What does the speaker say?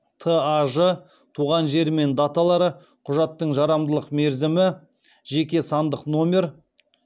таж туған жері мен даталары құжаттың жарамдылық мерзімі жеке сандық номер